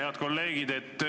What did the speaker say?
Head kolleegid!